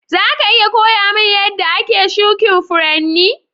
Za ka iya koya mun yadda ake shukin Furanni?